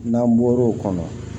N'an bɔr'o kɔnɔ